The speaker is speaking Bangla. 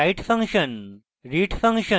read function